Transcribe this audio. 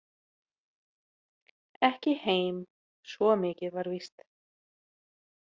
Ekki heim, svo mikið var víst.